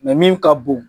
min ka bon